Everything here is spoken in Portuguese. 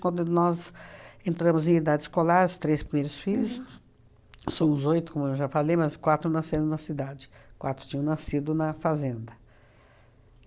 Quando nós entramos em idade escolar, os três primeiros filhos, somos oito, como eu já falei, mas quatro nasceram na cidade, quatro tinham nascido na fazenda.